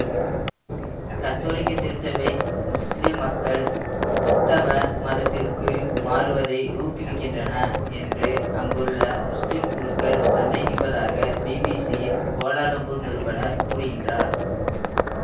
கத்தோலிக்க திருச்சபை முஸ்லிம் மக்கள் கிறிஸ்தவ மதத்திற்கு மாறுவதை ஊக்குவிக்கின்றன என்று அங்குள்ள முஸ்லிம் குழுக்கள் சந்தேகிப்பதாக பிபிசியின் கோலாலம்பூர் நிருபனர் கூறுகிறார்